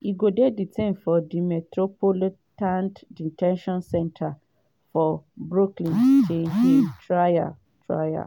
e go dey detained for di metropolitan de ten tion center for brooklyn till im trial. trial.